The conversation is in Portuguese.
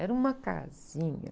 Era uma casinha.